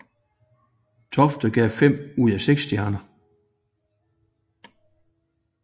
Tofte gav fem ud af seks hjerter